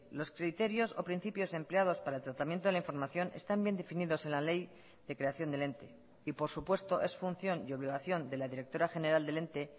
los criterios o principios empleados para el tratamiento de la información están bien definidos en la ley de creación del ente y por supuesto es función y obligación de la directora general del ente